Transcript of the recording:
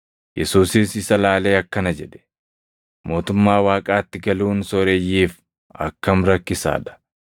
Yesuusis isa ilaalee akkana jedhe; “Mootummaa Waaqaatti galuun sooreyyiif akkam rakkisaa dha!